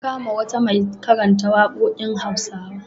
An kama wata mai karanta waƙoƙin Hausawa.